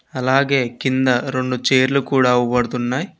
అలాగే కింద రొండు చైర్లు కూడా అవుబడుతున్నాయి.